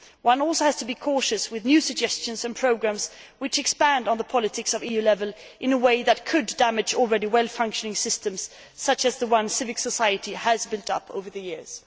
One also has to be cautious with new suggestions and programmes which expand policies at EU level in a way which could damage already well functioning systems such as the ones civic society has built up over the years.